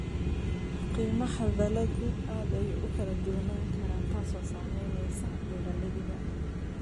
Qiimaha dalaggu aad ayuu u kala duwanaan karaa, taasoo saamaynaysa beeralayda.